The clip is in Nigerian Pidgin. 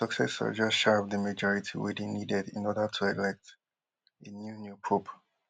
im successor just shy of di majority wey dey needed in order to elect a new new pope